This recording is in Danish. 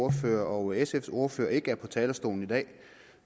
ordfører og sfs ordfører ikke går på talerstolen i dag